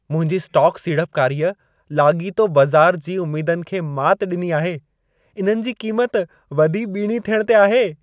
मुंहिंजी स्टॉक सीड़पकारीअ, लाॻीतो बज़ार जी उमेदुनि खे मात ॾिनी आहे। इन्हनि जी क़ीमत वधी ॿीणी थियणु ते आहे।